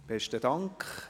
Besten Dank.